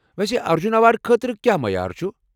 ویسے ارجٗن ایوارڑ خٲطرٕ کیٚا معیار چھُ؟